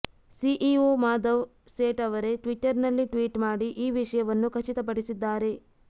CEO Madhav Seth ಅವರೇ ಟ್ವಿಟರ್ನಲ್ಲಿ tweet ಮಾಡಿ ಈ ವಿಷಯವನ್ನು ಖಚಿತಪಡಿಸಿದ್ದಾರೆ